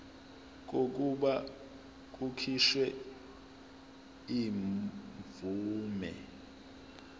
kokuba kukhishwe imvume